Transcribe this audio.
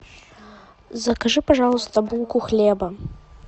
закажи пожалуйста булку хлеба